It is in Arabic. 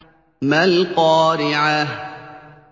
مَا الْقَارِعَةُ